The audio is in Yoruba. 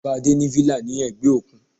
Bàbá Adé ní villa ní ẹ̀gbẹ́ òkun.